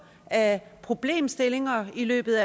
af problemstillinger i løbet